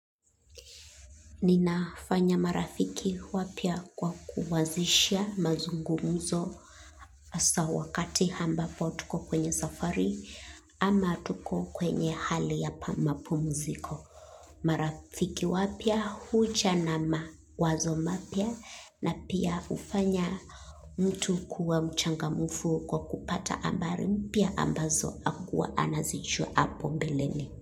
Ninafanya marafiki wapya kwa kuanzishia mazungumzo hasa wakati ambapo tuko kwenye safari ama tuko kwenye hali ya mapumziko. Marafiki wapya huja na mawazo mapya na pia hufanya mtu kuwa mchangamfu kwa kupata habari mpya ambazo hakuwa anazijua hapo mbeleni.